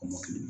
Kɔmɔkili